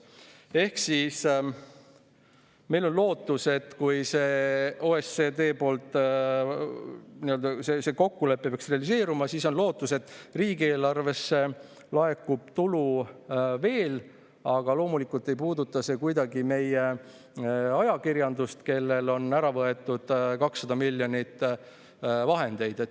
Ehk kui see OECD kokkulepe peaks realiseeruma, siis on lootus, et riigieelarvesse laekub tulu veel, aga loomulikult ei puuduta see kuidagi meie ajakirjandust, kellelt on ära võetud 200 miljonit vahendeid.